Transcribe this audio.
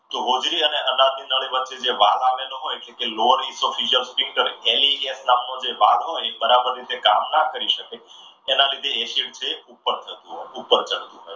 તો હોજરી અને અનાજની વચ્ચે નડી વચ્ચે જે વાલ આવેલો હોય છે. જે વાલ હોય એ બરાબર રીતે કામ ન કરી શકે એના લીધે acid છે ઉપર ચડતું હોય છે.